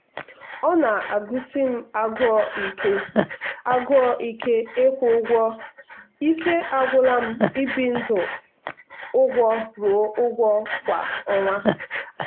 ọ na-agụsi m agụụ ike agụụ ike ịkwụ ụgwọ ike agwụla m ibi ndị ụgwọ ruo ụgwọ kwa ọnwa.